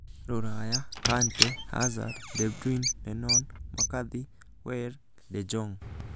Rũraya: Kante, Hazard, De Bruyne, Lennon, McCarthy, Weigl, De Jong